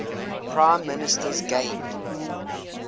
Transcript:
prime ministers gained